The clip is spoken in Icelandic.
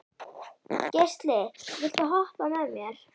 Geisli, viltu hoppa með mér?